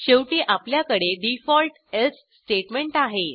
शेवटी आपल्याकडे default else statement आहे